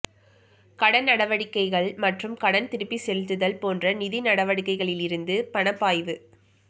கடன் நடவடிக்கைகள் மற்றும் கடன் திருப்பிச் செலுத்துதல் போன்ற நிதி நடவடிக்கைகளிலிருந்து பணப் பாய்வு